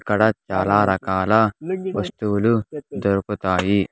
ఇక్కడ చాలా రకాల వస్తువులు దొరుకుతాయి .